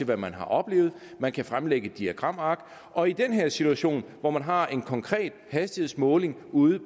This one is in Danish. hvad man har oplevet at man kan fremlægge diagramark og i den her situation hvor man har en konkret hastighedsmåling ude